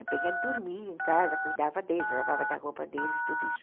A Penha dormia em casa, cuidava deles, lavava da roupa deles, tudo isso.